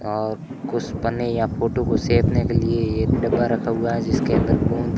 और कुछ पन्नी या फोटो को सेपने के लिए एक डब्बा रखा हुआ है जिसके अंदर गोंद--